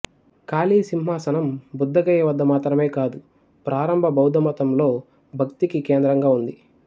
ఖాళీ సింహాసనం బుద్ధగయ వద్ద మాత్రమే కాదు ప్రారంభ బౌద్ధమతంలో భక్తికి కేంద్రంగా ఉంది